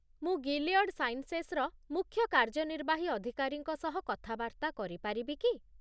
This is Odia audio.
ମୁଁ ଗିଲିୟଡ଼ ସାଇନ୍ସେସର ମୁଖ୍ୟ କାର୍ଯ୍ୟନିର୍ବାହୀ ଅଧିକାରୀଙ୍କ ସହ କଥାବାର୍ତ୍ତା କରିପାରିବି କି?